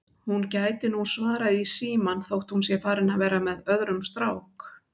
Hún gæti nú svarað í símann þótt hún sé farin að vera með öðrum strák